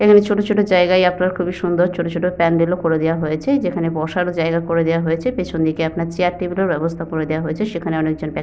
এই এই ছোট ছোট জায়গায় আপনার খুবই সুন্দর ছোট ছোট প্যান্ডেল ও করে দেওয়া হয়েছে যেখানে বসার ও জায়গা করে দেওয়া হয়েছে পেছন দিকে আপনার চেয়ার টেবিল এর ও ব্যবস্থা করে দেওয়া হয়েছে সেখানে অনেকজন।